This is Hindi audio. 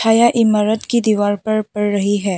छाया इमारत की दीवार पर पड़ रही है।